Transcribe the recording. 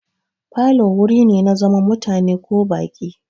Falo wuri ne na zaman mutane ko baƙi.